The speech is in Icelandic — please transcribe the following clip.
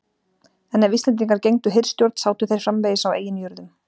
En ef Íslendingar gegndu hirðstjórn sátu þeir framvegis á eigin jörðum.